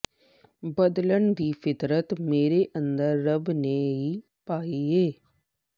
ਬਦਲਣ ਦੀ ਫਿਤਰਤ ਮੇਰੇ ਅੰਦਰ ਰੱਬ ਨੇ ਈ ਪਾਈ ਏ